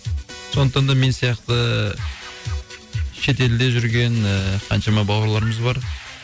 сондықтан да мен сияқты шетелде жүрген ііі қаншама бауырларымыз бар